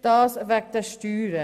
Das sei wegen den Steuern.